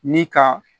Ni ka